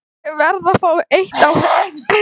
Ég verð að fá eitt á hreint, Kjartan.